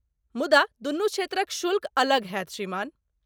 मुदा दुनू क्षेत्रक शुल्क अलग होयत, श्रीमान।